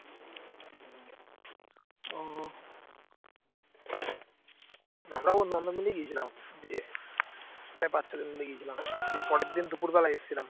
আমরাও বন্ধু বান্ধব মিলেই গিয়েছিলাম দিয়ে মানে পাঁচ ছজন মিলে গিয়েছিলাম দিয়ে পরের দিন দুপুরবেলায় এসেছিলাম